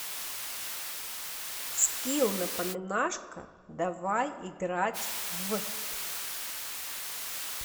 скилл напоминашка давай играть в